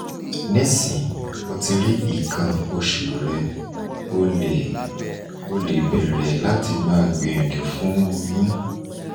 nisin o ti ri ikan osu re o le o le bere lati ma gbiyanju fun oyun